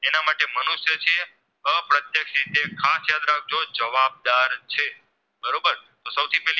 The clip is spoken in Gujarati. છે બરોબર તો સૌ થી પેલી